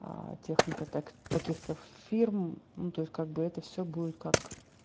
техника так таких-то фирм ну то есть как бы это всё будет как